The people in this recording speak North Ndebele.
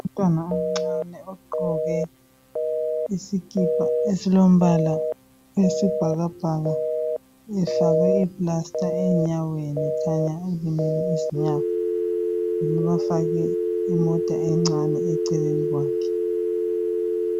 Umntwana omncane ogqoke isikipa esilombala wesibhakabhaka efakwe iplasta enyaweni khanya elimele izinyawo bafake imota encane eceleni kwakhe.